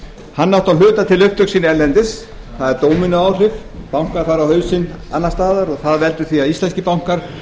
hann átti að hluta til upptök sín erlendis það er dóminóáhrif bankar fara á hausinn annars staðar og það veldur því að íslenskir bankar